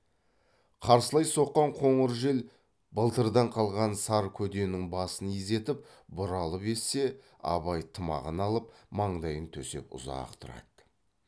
қарсылай соққан қоңыр жел былтырдан қалған сар көденің басын изетіп бұралып ессе абай тымағын алып маңдайын төсеп ұзақ тұрады